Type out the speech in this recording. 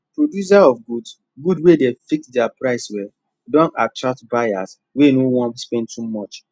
producer of goods goods wey dey fix their price well don attract buyers wey no wan spend too much